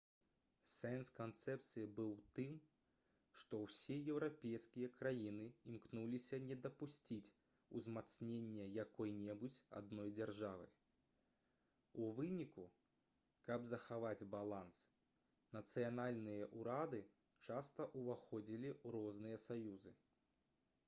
сэнс канцэпцыі быў у тым што ўсе еўрапейскія краіны імкнуліся не дапусціць узмацнення якой-небудзь адной дзяржавы у выніку каб захаваць баланс нацыянальныя ўрады часта ўваходзілі ў розныя саюзы